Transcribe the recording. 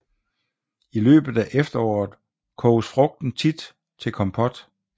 I løbet af efteråret koges frugten tit til kompot